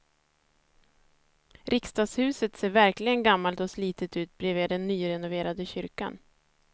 Riksdagshuset ser verkligen gammalt och slitet ut bredvid den nyrenoverade kyrkan.